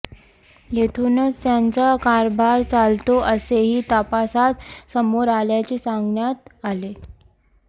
येथूनच त्यांचा कारभार चालतो असेही तपासात समोर आल्याचे सांगण्यात आले